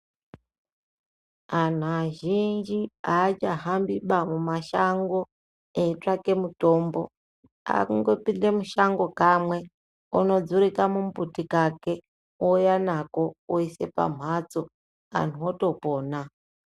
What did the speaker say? Anu azhinji achahambiba mumashango eitsvake mitombo akungopinde mushango kamwe onodzure kamubuti kake ouya nako oise pamhatso antu otopona.